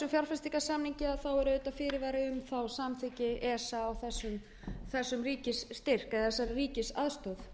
fjárfestingarsamningi er fyrirvari um samþykki esa á þessum ríkisstyrk eða þessari ríkisaðstoð